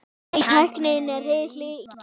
Nei, tæknin er hið illa.